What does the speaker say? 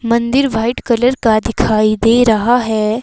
मंदिर white colour का दिखाई दे रहा है।